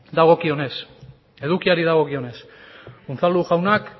da edukiari dagokionez unzalu jaunak